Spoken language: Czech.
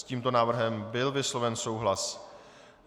S tímto návrhem byl vysloven souhlas.